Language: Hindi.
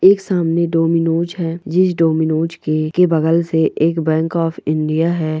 एक सामने डोमिनोज है जिस डोमिनोस के बगल से एक बैंक ऑफ़ इंडिया है।